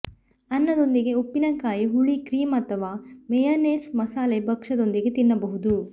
ಅನ್ನದೊಂದಿಗೆ ಉಪ್ಪಿನಕಾಯಿ ಹುಳಿ ಕ್ರೀಮ್ ಅಥವಾ ಮೇಯನೇಸ್ ಮಸಾಲೆ ಭಕ್ಷ್ಯದೊಂದಿಗೆ ತಿನ್ನಬಹುದು